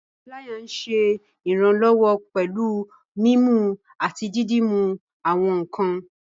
Pilaya nṣẹ iranlọwọ pẹ̀lú mímú àti dídúmú àwọn nkàn.